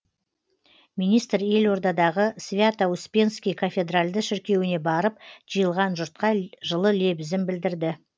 министр елордадағы свято успенский кафедральды шіркеуіне барып жиылған жұртқа жылы лебізін білдірді